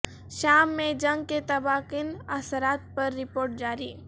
شام میں جنگ کے تباہ کن اثرات پر رپورٹ جاری